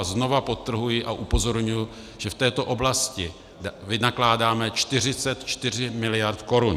A znovu podtrhuji a upozorňuji, že v této oblasti vynakládáme 44 miliard korun.